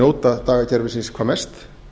njóta dagakerfisins hvað mest